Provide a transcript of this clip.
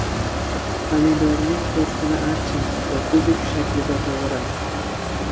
Pomidorning po‘stini arching va kubik shaklida to‘g‘rang.